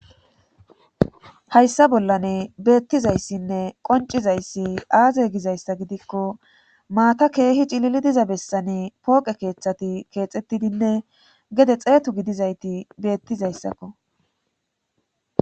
hayssa bollane beettizayssinne qoncizayssi aaze gizayssa gidikko maata keehi cilili diza bessani pooqe keeththati keexettidinne gede xeetu gidizayti beettizayssakko